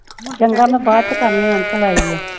ਚੰਗਾ ਮੈਂ ਬਾਅਦ ਚ ਕਰਨੀ ਆ ਅੰਕਲ ਆਏ ਈ ਆ।